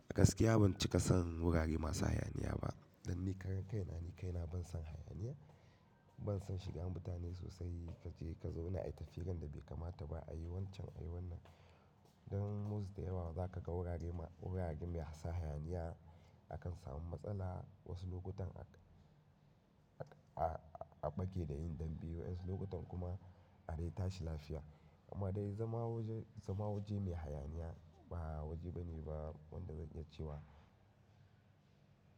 A gaskiya ban cika san wurare masu hayaniya ba dan ni karan kaina ni kaina bansan hayaniya, ban san shigan mutane sosai kace kazo ina yi tafiranda bai kamata ba a yi wancan a yi wannan. Dan most da yawa zakaga wurare ma wurare mai sa hayaniya akan samu matsala wasu lokutan a a a bake da yin dambe wasu lokutan kuma a dai tashi lafiya. Amma dai zama waje zama waje mai hayaniya ba waje bane ba wanda zan iya cewa.